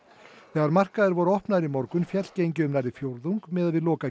þegar markaðir voru opnaðir í morgun féll gengið um nærri fjórðung miðað við